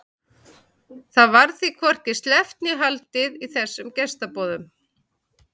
Það varð því hvorki sleppt né haldið í þessum gestaboðum.